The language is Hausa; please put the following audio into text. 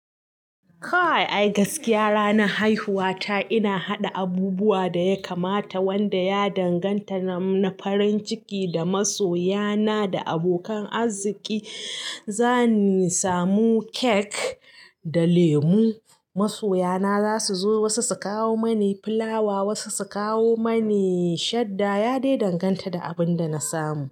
Kai ai gaskiya ranar haihuwata ina haɗa abubuwa da ya kamata wanda ya danganta na farin ciki da masoyana da abokan arziƙi. Zani samu cake da lemu. Masoya na zasu zo wasu su kawo mani filawa, wasu su kawo mani shadda. Ya dai danganta da abin da na samu.